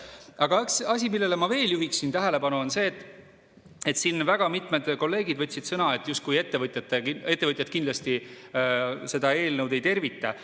Aga üks asi, millele ma veel juhiksin tähelepanu, on see, et siin väga mitmed kolleegid võtsid sõna, et justkui ettevõtjad seda eelnõu ei tervita.